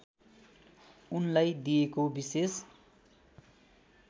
उनलाई दिएको विशेष